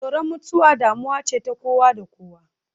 Tsoron mutuwa damuwa ce ta kowa da kowa.